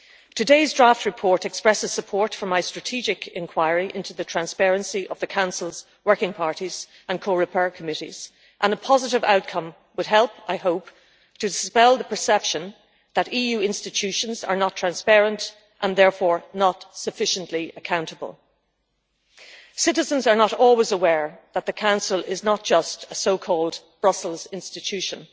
Today's draft report expresses support for my strategic inquiry into the transparency of the Council's working parties and Coreper committees and a positive outcome would help, I hope, to dispel the perception that EU institutions are not transparent and therefore not sufficiently accountable. Citizens are not always aware that the Council is not just a so-called Brussels institution'.